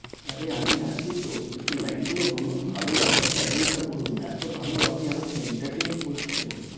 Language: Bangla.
আরে আমি আছি তো একটু line লো বলুন ভালো একটা সাইরি টা বলুন এত ভালো আপনি আমাকে entertainment করছেন